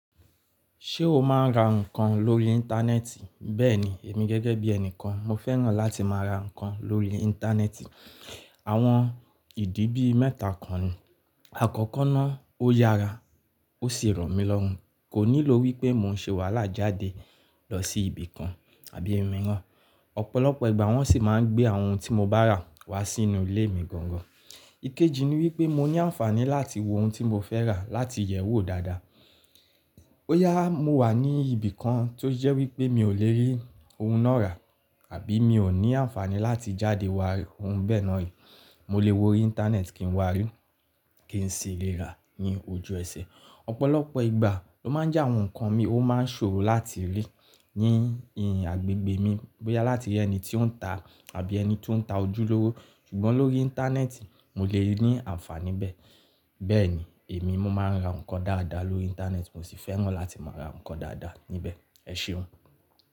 Ṣé o máa ń ra nǹkan lórí Íńtánẹ́ẹ̀tì? Bẹ́ẹ̀ni, èmi gẹ́gẹ́ bí ẹnìkan mo fẹ́ràn láti má a ra nǹkan lórí Íńtánẹ́ẹ̀tì. Àwọn ìdí bí mẹ́ta kan nì. Àkọ́kọ́ náà ó yára ó sì rọ̀mílọ́run, kò nílò wípé mo ń se wàhálà jáde lọ sí ibìkan àbí iminran. Ọ̀pọ̀lọpọ̀ ìgbà wọ́n sì máa ń gbé àwọn ohun tí mo bá rà wá sínú ilé mi gangan. Ikeji ni wípé mo ní ànfàní láti wo ohun tí mo fẹ́ rà láti yẹ̀ ẹ́ wò dáadáa. Bóyá mo wà ní ibìkan tó jẹ́ wípé mi ò lè rí ohun náà rà àbí mi ò ní ànfàní láti jáde wá rí ohun bẹ́ẹ̀ náà, mo lè wo Íńtánẹ́ẹ̀tì kí n wá rí i kí n sì lè rà á ní ojú ẹsẹ̀. Ọ̀pọ̀lọpọ̀ ìgbà ló máa ń jẹ́ àwọn nǹkan mi ó máa ń ṣòro láti rí ní ìhìn àgbègbè mi, bóyá láti ẹni tí ó ń ta àbí ẹni tí ó ń ta ojúlówó. Ṣùgbọ́n lórí Íńtánẹ́ẹ̀tì mo lè ní ànfàní bẹ́ẹ̀. Bẹ́ẹ̀ni, èmi mo máa ń ra nǹkan dáadáa lórí Íńtánẹ́ẹ̀tì mo sì fẹ́ràn láti má a ra nǹkan dáadáa níbẹ̀. Ẹ̀ṣeun.